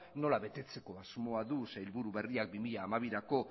nola betetzeko asmoa du sailburu berriak bi mila hamabirako